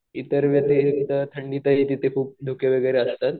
इतर वेळी थंडीत वगैरे तिथं खूप धुके वगैरे असतात.